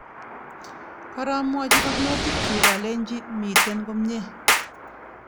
Koromwochi barnotikyuk alenchi mitten komie